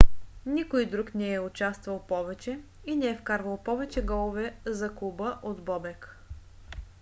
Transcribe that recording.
никой друг не е участвал повече и не е вкарвал повече голове за клуба от бобек